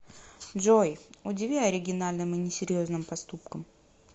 джой удиви оригинальным и несерьезным поступком